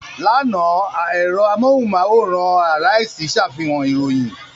Lánàá, ẹ̀rọ amóhùmáwòhán Arise ṣàfihàn ìròyìn.